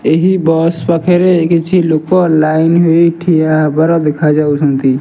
ଏହି ବସ୍ ପାଖେରେ କିଛି ଲୋକ ଲାଇନ୍ ହୋଇ ଠିଆ ହେବାର ଦେଖାଯାଉଛନ୍ତି।